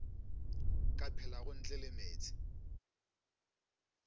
ka phelago ntle le meetse